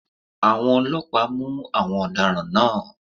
Àwọn ọlọ́pàá mú àwọn ọ̀daràn náà